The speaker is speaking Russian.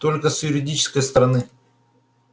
только с юридической стороны